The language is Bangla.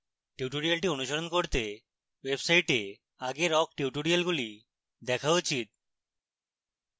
tutorial অনুশীলন করতে website আগের awk টিউটোরিয়ালগুলি দেখা উচিত